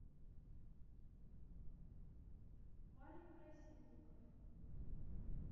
малик красильников